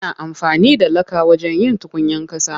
Ana amfani da laka wajen yin tukwanen ƙasa.